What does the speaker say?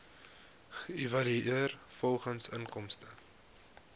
geëvalueer volgens inkomste